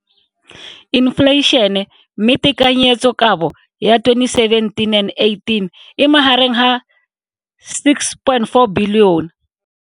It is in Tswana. infleišene, mme tekanyetsokabo ya 2017 and 18 e magareng ga R6.4 bilione.